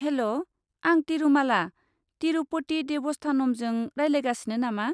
हेल'! आं तिरुमाला तिरुपति देबस्थानमजों रायज्लायगासिनो नामा?